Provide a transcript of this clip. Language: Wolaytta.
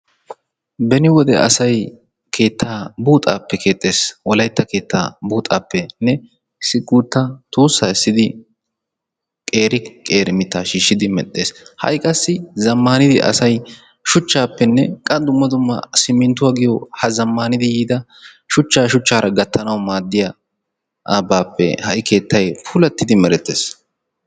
beni wode asay keetta buuxxaappe keexxes. wolaytta keettaa buuxxaappene issi guuta tuusaa essidi qeeri qeeri mitaa shiishidi medhees. ha'i qassi zamaanid asay shuchaappenne qa dumma dumma simmintwa giyo ha zamaanidi yiida shuchaa shuchaara gatanawu maadiyaabappe ha'i keettay puulatidi meretees.